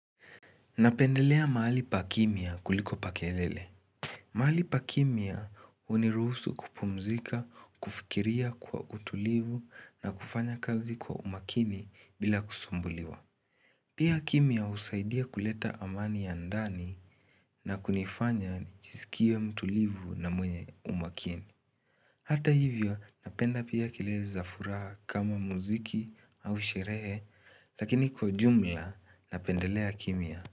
Napendelea mahali pa kimya kuliko pa kelele. Mahali pa kimya uniruhusu kupumzika, kufikiria kwa utulivu na kufanya kazi kwa umakini bila kusumbuliwa. Pia kimya husaidia kuleta amani ya ndani na kunifanya nichisikie mtulivu na mwenye umakini. Hata hivyo napenda pia kilele za furaha kama muziki au sherehe lakini kwa ujumla napendelea kimya.